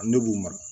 Ne b'u mara